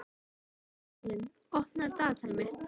Dvalinn, opnaðu dagatalið mitt.